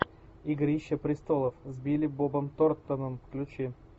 игрища престолов с билли бобом торнтоном включи